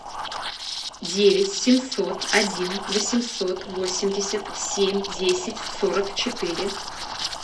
девять семьсот один восемьсот восемьдесят семь десять сорок четыре